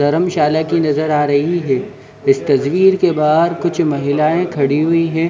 धरमशाला की नज़र आ रही है इस तस्वीर के बाहर कुछ महिलयाँ खड़ी हुई हैं।